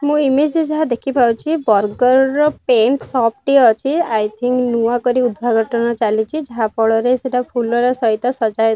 ମୁଁ ଇମଜରେ ଯେ ଯାହା ଦେଖିପାରୁଛି ବରଗଡ଼ର ପେଣ୍ଟ ସପ ଟେ ଅଛି ଆଇ ଥୀଙ୍କ ନୂଆ କରି ଉଦଘାଘଟନ ଚାଲିଛି ଯାହାଫଳରେ ସେଟା ଫୁଲର ସହିତ ସଜା--